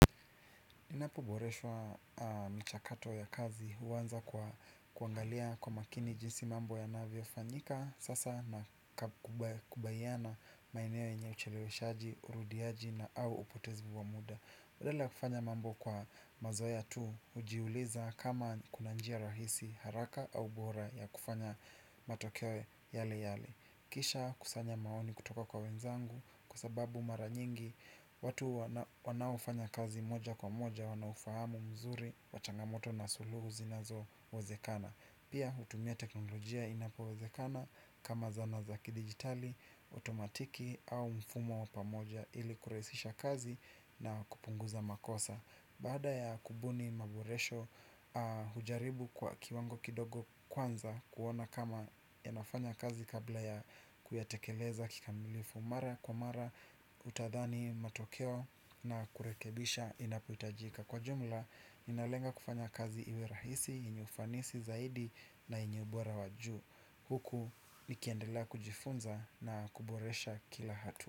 Ninapoboreshwa mchakato ya kazi huanza kwa kuangalia kwa makini jinsi mambo yanavyofanyika sasa na kubayiano maeneo yenye ucheleweshaji, urudiaji na au upotezi wa muda. Badala ya kufanya mambo kwa mazoea tu, hujiuliza kama kuna njia rahisi, haraka au bora ya kufanya matokeo yale yale. Kisha kusanya maoni kutoka kwa wenzangu kwa sababu mara nyingi watu wanaofanya kazi moja kwa moja wanaufahamu mzuri wa changamoto na suluhu zinazowezekana. Pia hutumia teknolojia inapowezekana kama zana za kidijitali, otomatiki au mfumo wa pamoja ili kurahisisha kazi na kupunguza makosa. Baada ya kubuni maboresho hujaribu kwa kiwango kidogo kwanza kuona kama inafanya kazi kabla ya kuyatekeleza kikamilifu. Mara kwa mara utadhani matokeo na kurekebisha inapohitajika. Kwa jumla, ninalenga kufanya kazi iwe rahisi, yenye ufanisi zaidi na yenye ubora wa juu. Huku nikiendela kujifunza na kuboresha kila hatua.